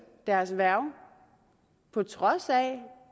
deres værge på trods af